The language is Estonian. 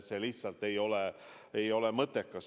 See lihtsalt ei ole mõttekas.